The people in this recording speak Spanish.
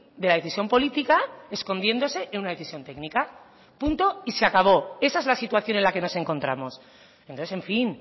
de la decisión política escondiéndose en una decisión técnica punto y se acabó esa es la situación en la que nos encontramos entonces en fin